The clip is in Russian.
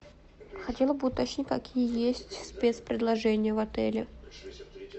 хотела бы уточнить какие есть спец предложения в отеле